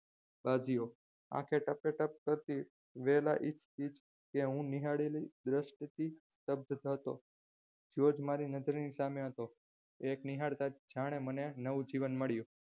કાઢ્યો આંખો ટકોટક કરતી ઇર્દ્યગીરધ ત્યાં હું નિહાળેલી જોતો જ્યોર્જ મારી નજરની સામે હતો એ નિહાળતા જાણે મને નવું જીવન મળ્યું